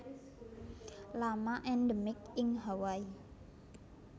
Lama endemik ing Hawaii